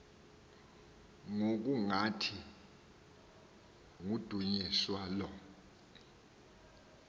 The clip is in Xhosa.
ngokungathi kudunyiswa lo